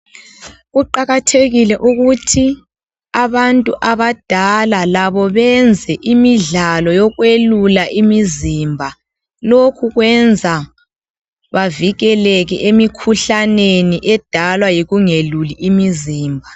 Kuqakathekile ukuthi abantu abadala labo benze imidlalo yekwelula imizimba, lokhu kwenza bavikeleke emikhuhlaneni edalwa yikungeluli imizimba.